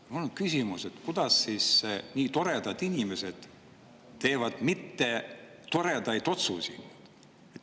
Mul on küsimus, et kuidas siis nii toredad inimesed teevad mittetoredaid otsuseid.